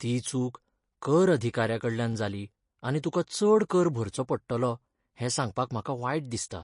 ती चूक कर अधिकार्याकडल्यान जाली आनी तुका चड कर भरचो पडटलो हें सांगपाक म्हाका वायट दिसता.